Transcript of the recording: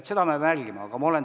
Seda peab jälgima.